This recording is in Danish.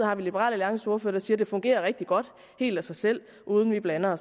har vi liberal alliances ordfører der siger at det fungerer rigtig godt helt af sig selv og uden vi blander